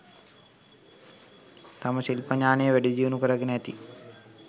තම ශිල්ප ඥානය, වැඩිදියුණු කරගෙන ඇති